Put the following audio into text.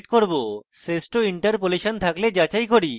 আমি যাচাই করি যদি আমার কাছে শ্রেষ্ঠ interpolation থাকে তাহলে এটি ভালো